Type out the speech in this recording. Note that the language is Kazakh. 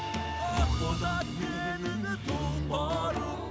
ақ боз ат менің тұлпарым